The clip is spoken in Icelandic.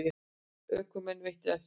Ökumanni veitt eftirför